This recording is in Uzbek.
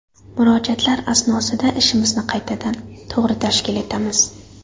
Murojaatlar asnosida ishimizni qaytadan, to‘g‘ri tashkil etamiz.